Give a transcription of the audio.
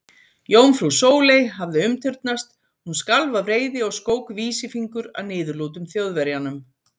Jómfrú Sóley hafði umturnast, hún skalf af reiði og skók vísifingur að niðurlútum Þjóðverjanum.